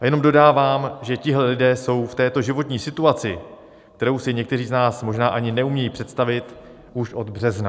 A jenom dodávám, že tihle lidé jsou v této životní situaci, kterou si někteří z nás možná ani neumějí představit, už od března.